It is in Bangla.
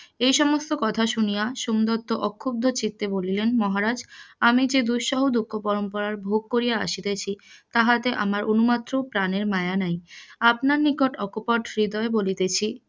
এই সমস্ত কথা শুনিয়া সোমদত্ত অখুদ্ধ চিত্তে বলিলেন মহারাজ আমি যে দুঃসহ দুখ ভোগ করিয়া আসিতেছি তাহাতে আমার অনুমাত্র প্রাণের মায়া নাই আপনার নিকট অক্পট হৃদয়ে বলতাছি